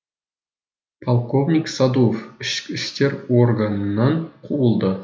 полковник садуов ішкі істер органынан қуылды